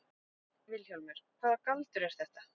VILHJÁLMUR: Hvaða galdur er þetta?